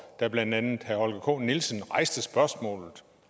da blandt andet herre holger k nielsen rejste spørgsmålet